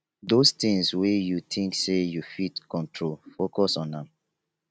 dose tins wey yu tink sey yu fit control focus on am